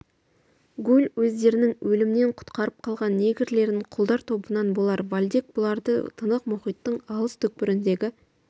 гуль өздерінің өлімнен құтқарып қалған негрлерін құлдар тобынан болар вальдек бұларды тынық мұхиттың алыс түкпіріндегі